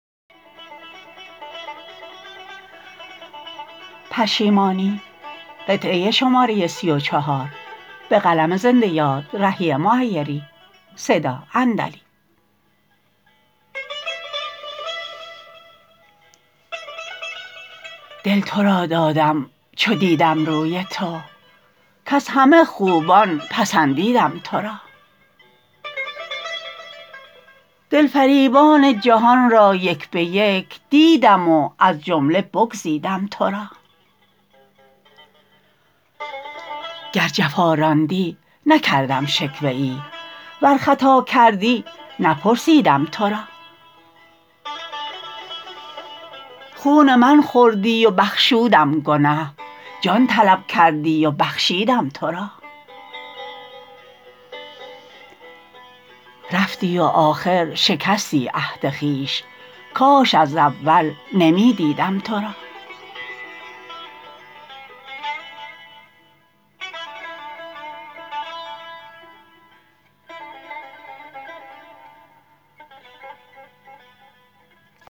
دل تو را دادم چو دیدم روی تو کز همه خوبان پسندیدم تو را دل فریبان جهان را یک به یک دیدم و از جمله بگزیدم تو را گر جفا راندی نکردم شکوه ای ور خطا کردی نپرسیدم تو را خون من خوردی و بخشودم گنه جان طلب کردی و بخشیدم تو را رفتی و آخر شکستی عهد خویش کاش از اول نمی دیدم تو را